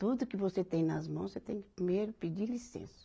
Tudo que você tem nas mãos, você tem que primeiro pedir licença.